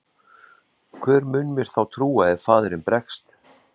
Hver mun mér þá trúr ef faðirinn bregst?